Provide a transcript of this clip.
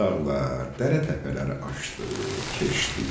Çox dağlar, dərə təpələri aşdı, keçdi.